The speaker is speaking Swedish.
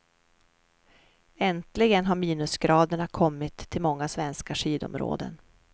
Äntligen har minusgraderna kommit till många svenska skidområden.